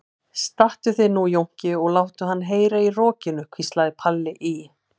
Stattu þig nú Jónki og láttu hann heyra í rokinu, hvíslaði Palli í